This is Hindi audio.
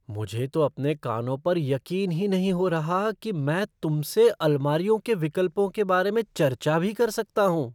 मुझे तो अपने कानों पर यकीन ही नहीं हो रहा कि मैं तुमसे अलमारियों के विकल्पों के बारे में चर्चा भी कर सकता हूँ।